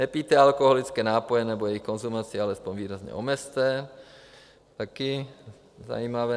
Nepijte alkoholické nápoje nebo jejich konzumaci alespoň výrazně omezte, taky zajímavé.